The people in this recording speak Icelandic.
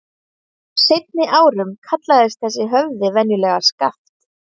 Á seinni árum kallaðist þessi höfði venjulega Skaft.